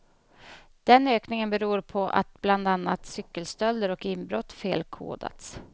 Den ökningen beror på att bland annat cykelstölder och inbrott felkodats.